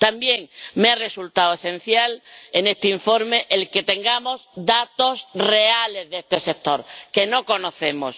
También me ha resultado esencial en este informe que tengamos datos reales de este sector que no conocemos.